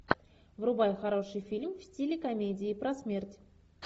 врубай хороший фильм в стиле комедии про смерть